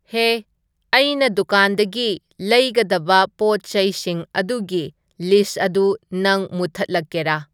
ꯍꯦ ꯑꯩꯅ ꯗꯨꯀꯥꯟꯗꯒꯤ ꯂꯩꯒꯗꯕ ꯄꯣꯠ ꯆꯩꯁꯤꯡ ꯑꯗꯨꯒꯤ ꯂꯤꯁ ꯑꯗꯨ ꯅꯪ ꯃꯨꯊꯠꯂꯛꯀꯦꯔꯥ